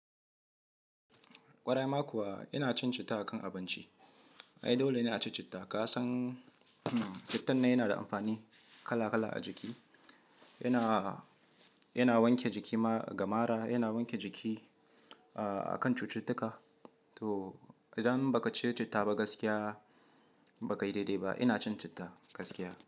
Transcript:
Ƙwarai ma kuwa ina cin citta a kan abinci. Ai dole ne a ci citta. Ka san cittan na yana da amfani kala kala a jiki. Yana, yana wanke jiki ga mara, yana wanke jiki a kan cututtuka. To idan ba ka ci citta ba gaskiya ba ka yi daidai ba. Ina cin citta gaskiya.